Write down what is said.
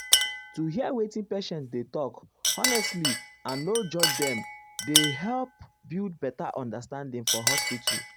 to hear wetin patient dey talk honestly and no judge dem dey help build better understanding for hospital.